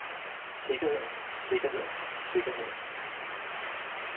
sikkerheden sikkerheden sikkerheden